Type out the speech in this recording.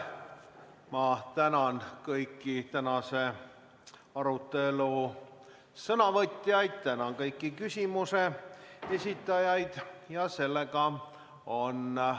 Ma tänan kõiki tänase arutelu sõnavõtjaid ja kõiki küsimuste esitajaid!